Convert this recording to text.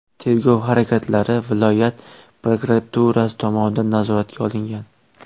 Tergov harakatlari viloyat prokuraturasi tomonidan nazoratga olingan.